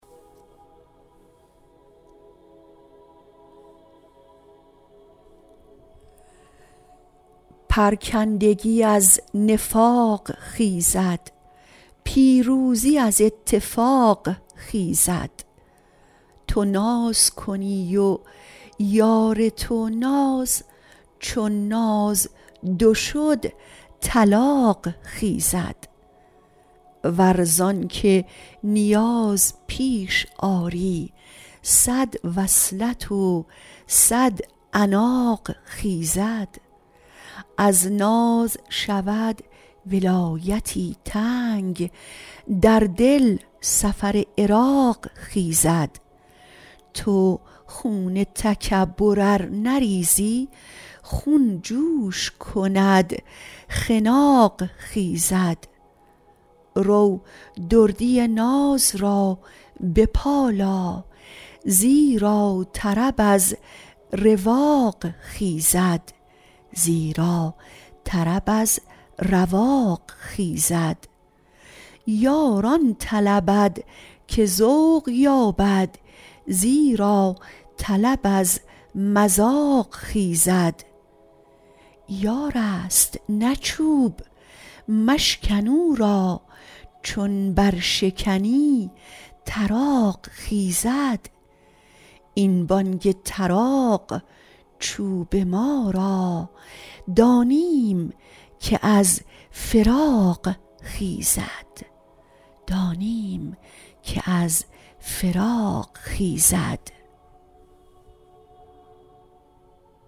پرکندگی از نفاق خیزد پیروزی از اتفاق خیزد تو ناز کنی و یار تو ناز چون ناز دو شد طلاق خیزد ور زان که نیاز پیش آری صد وصلت و صد عناق خیزد از ناز شود ولایتی تنگ در دل سفر عراق خیزد تو خون تکبر ار نریزی خون جوش کند خناق خیزد رو دردی ناز را بپالا زیرا طرب از رواق خیزد یار آن طلبد که ذوق یابد زیرا طلب از مذاق خیزد یارست نه چوب مشکن او را چون برشکنی طراق خیزد این بانگ طراق چوب ما را دانیم که از فراق خیزد